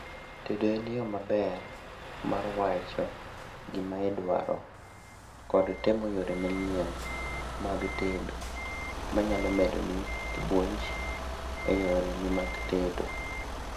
tedo en yoo maber mar wacho gimaidwaro kod temo yore manyien mag tedo manyalo medo ni puonj e yore ni mag tedo